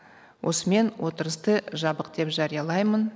осымен отырысты жабық деп жариялаймын